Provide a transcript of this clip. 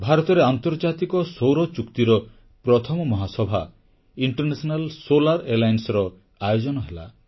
ଭାରତରେ ଆନ୍ତର୍ଜାତିକ ସୌର ସଂଗଠନର ପ୍ରଥମ ମହାସଭା ଇଣ୍ଟରନ୍ୟାସନାଲ ସୋଲାର Allianceର ଆୟୋଜନ ହେଲା